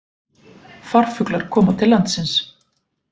Farfuglar koma til landsins